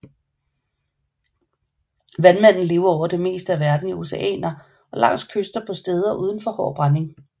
Vandmanden lever over det meste af verden i oceaner og langs kyster på steder uden for hård brænding